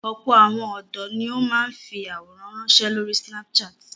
Ọ̀pọ̀ àwọn ọ̀dọ́ ni ó máa ń fi àwòrán ránṣẹ́ lórí Snapchat.